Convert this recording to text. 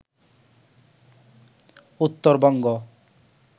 Uttarbanga